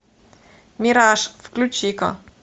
мираж включи ка